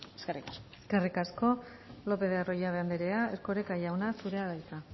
eskerrik asko eskerrik asko lopez de arroyabe andrea erkoreka jauna zurea da hitza